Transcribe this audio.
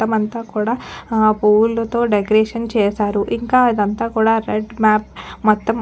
మొత్తం అంతాకూడా పువ్వులతో డెకొరేషన్ చేశారు ఇంకా ఇదంతా కూడా రెడ్ మ్యాప్ మొతం.